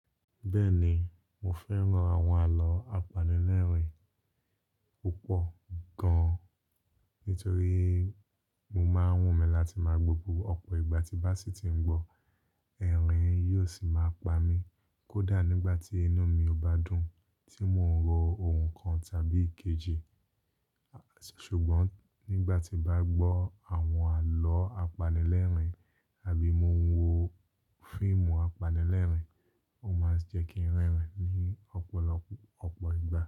Bẹ́ẹ̀ ni, mo fẹ́ran àwọn àlọ́ apanilẹ́rìn-ín púpọ̀ gan-an nítorí mo máa ń wùn mí láti máa gbó bo ọ̀pọ̀ ìgbà tí bá sì tí ń gbọ́, ẹ̀rín yóò sì máa pa mí kódà nígbà tí inu mi ò bá dùn tí mò ń rò ohun kan tàbí èkejì. Ṣùgbọ́n nígbà tí n bá gbọ́ àwọn àlọ́ apanilẹ́rìn-ín àbí mo ń wo fíìmù apanilẹ́rìn-ín, ó máa ń jẹ́ kí ń rẹ́rìn-ín ní ọ̀pọ̀lọpọ̀ ọ̀pọ̀ ìgbà.